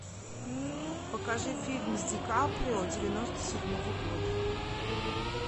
покажи фильм с ди каприо девяносто седьмого года